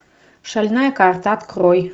шальная карта открой